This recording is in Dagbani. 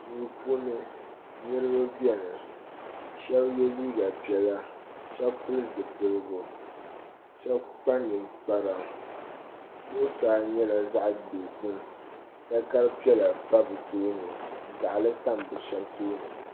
Duu puuni niraba biɛni ka shab yɛ liiga piɛla shab pili zipiligu shab kpa ninkpara zuɣusaa nyɛla zaɣ dozim takari piɛla pa bi tooni gaɣali tam bi shab tooni